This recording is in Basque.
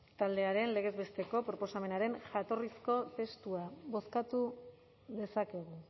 taldearen legez besteko proposamenaren jatorrizko testua bozkatu dezakegu